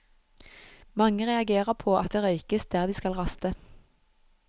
Mange reagerer på at det røykes der de skal raste.